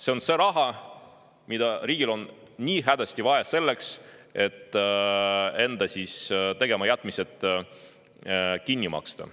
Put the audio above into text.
See on see raha, mida riigil on nii hädasti vaja, et enda tegematajätmised kinni maksta.